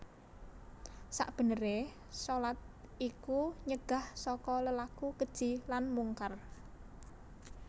Sakbeneré shalat iku nyegah saka lelaku keji lan mungkar